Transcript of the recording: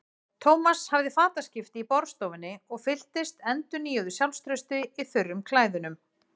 Thomas hafði fataskipti í borðstofunni og fylltist endurnýjuðu sjálfstrausti í þurrum klæðunum.